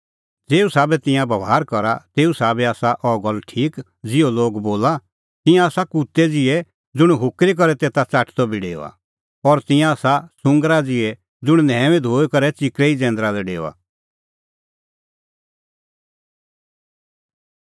ज़ेऊ साबै तिंयां बभार करा तेऊ साबै आसा अह गल्ल ठीक ज़िहअ लोग बोला तिंयां आसा कुत्तै ज़िहै ज़ुंण आपणीं उल्टी च़ाटदअ फिरी डेओआ और तिंयां आसा सुंगरा ज़िहै ज़ुंण न्हैऊई धोई करै बी च़िकरै ई जैंदरा लै डेओआ